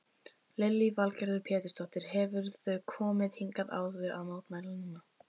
Lillý Valgerður Pétursdóttir: Hefurðu komið hingað áður að mótmæla núna?